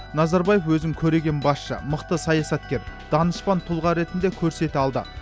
назарбаев өзін көреген басшы мықты саясаткер данышпан тұлға ретінде көрсете алды